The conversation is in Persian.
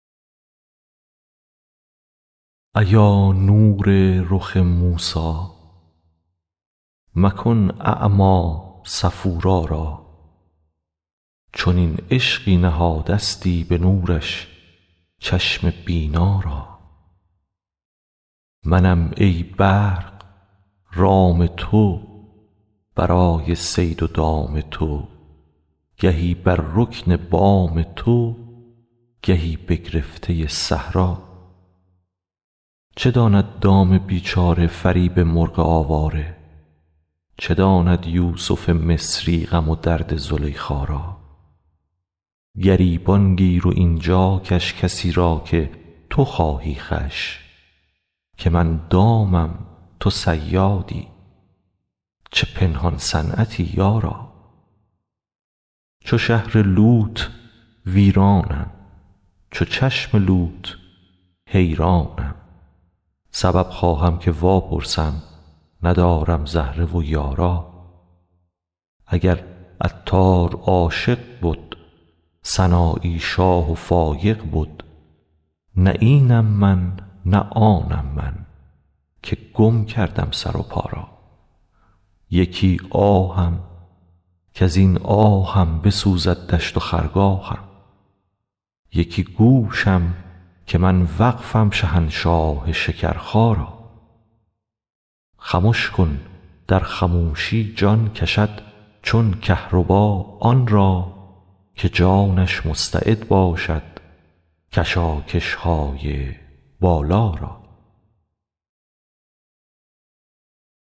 ایا نور رخ موسی مکن اعمی صفورا را چنین عشقی نهادستی به نورش چشم بینا را منم ای برق رام تو برای صید و دام تو گهی بر رکن بام تو گهی بگرفته صحرا را چه داند دام بیچاره فریب مرغ آواره چه داند یوسف مصری غم و درد زلیخا را گریبان گیر و این جا کش کسی را که تو خواهی خوش که من دامم تو صیادی چه پنهان صنعتی یارا چو شهر لوط ویرانم چو چشم لوط حیرانم سبب خواهم که واپرسم ندارم زهره و یارا اگر عطار عاشق بد سنایی شاه و فایق بد نه اینم من نه آنم من که گم کردم سر و پا را یکی آهم کز این آهم بسوزد دشت و خرگاهم یکی گوشم که من وقفم شهنشاه شکرخا را خمش کن در خموشی جان کشد چون کهربا آن را که جانش مستعد باشد کشاکش های بالا را